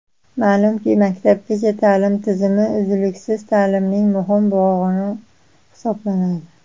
Ma’lumki, maktabgacha ta’lim tizimi uzluksiz ta’limning muhim bo‘g‘ini hisoblanadi.